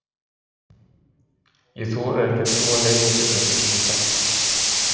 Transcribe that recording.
Ég þori ekki að trúa neinum fyrir þessu sem ég þekki.